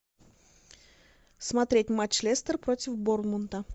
смотреть матч лестер против борнмута